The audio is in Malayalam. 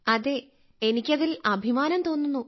അതെ എനിക്ക് അതിൽ അഭിമാനം തോന്നുന്നു